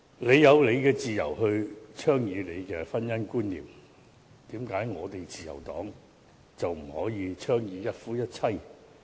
為何你有自由倡議自己的婚姻觀念，自由黨卻不可以倡議一夫一妻制？